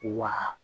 Wa